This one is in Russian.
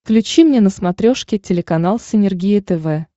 включи мне на смотрешке телеканал синергия тв